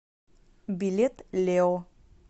билет лео